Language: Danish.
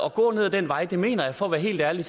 at gå ad den vej mener jeg for at være helt ærlig